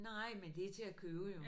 Nej men det er til at købe jo